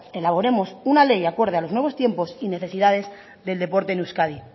elaboremos una ley acorde a los nuevos tiempos y necesidades del deporte en euskadi